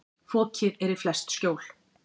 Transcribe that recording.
Fokið er í flest skjól.